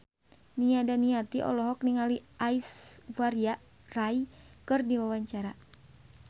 Nia Daniati olohok ningali Aishwarya Rai keur diwawancara